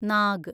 Nag